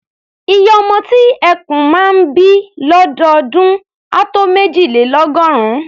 Iye ọmọ tí eku máa ń bí lọ́dọọdún á tó méjìlélọ́gọ́rùn-ún.